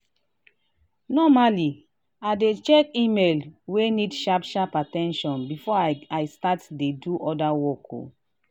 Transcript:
normally i dey check email wey need sharp sharp at ten tion before i start dey do other work.